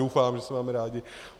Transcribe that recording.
Doufám, že se máme rádi.